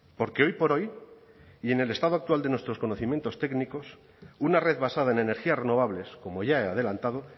porque hoy por hoy y en el estado actual de nuestros conocimientos técnicos una red basada en energías renovables como ya he adelantado